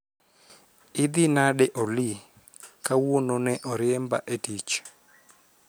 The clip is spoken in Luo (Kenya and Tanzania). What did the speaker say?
Idhi nade Olly? Kawuono ne oriemba e tich.